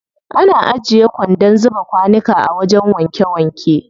Ana ajiye kwandon zuba kwanuka a wajen wanke wanke.